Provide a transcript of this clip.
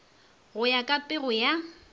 go ya ka pego ya